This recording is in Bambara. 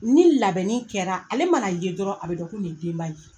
Ni labɛnni kɛra ale mana ye dɔrɔn a be dɔn ko nin ye denba ye.